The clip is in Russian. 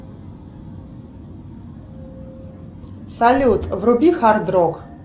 салют вруби хард рок